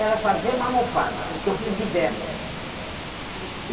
Era fazer uma almofada, que eu fiz diversas. Nossa